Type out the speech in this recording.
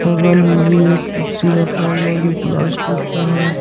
बगल में भी एक कुर्सी रखा हुआ हैजो प्लास्टिक का है।